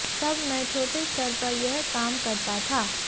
तब मैं छोटे स्तर पर यह काम करता था